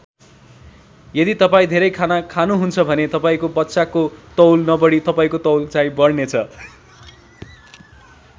यदि तपाईँ धेरै खाना खानुहुन्छ भने तपाईँको बच्चाको तौल नबढी तपाईँको तौल चाहिँ बढ्नेछ।